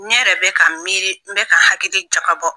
Ne yɛrɛ bɛ ka n miiri, n bɛ ka hakili jakabɔ